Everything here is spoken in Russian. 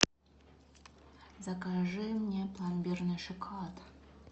закажи мне пломбирный шоколад